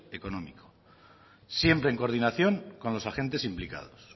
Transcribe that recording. económico siempre en coordinación con los agentes implicados